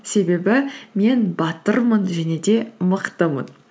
себебі мен батырмын және де мықтымын